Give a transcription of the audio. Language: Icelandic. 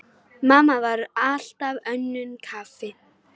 Mamma var alltaf önnum kafin.